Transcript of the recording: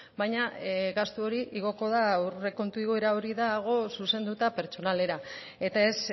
baina gastu hori igoko da aurrekontu igoera hori dago zuzenduta pertsonalera eta ez